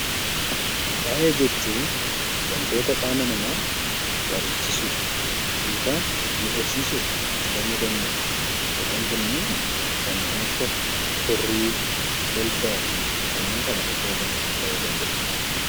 Faaya jechuun waantota qaama namaa bareechisuuf yookaan miidhagsiisuuf itti fayyadamnudha. Kanneen kunniin kanneen akka kirrii, qulfaa fi kanneen kana fakkaatan ta'uu danda'u.